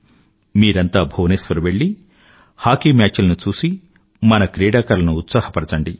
మీరంతా భువనేశ్వర్ వెళ్ళి hockey match లను చూసి మన క్రీడాకారులను ఉత్సాహపరచండి